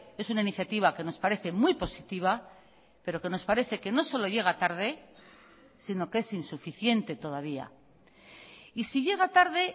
es una iniciativa que nos parece muy positiva pero que nos parece que no solo llega tarde sino que es insuficiente todavía y si llega tarde